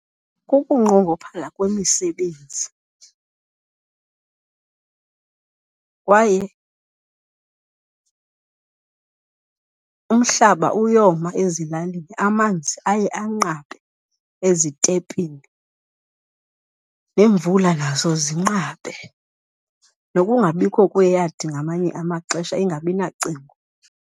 Kukunqongophala kwemisebenzi kwaye umhlaba uyoma ezilalini, amanzi aye anqabe ezitepini neemvula nazo zinqabe. Nokungabikho kweyadi ngamanye amaxesha, ingabi nacingo.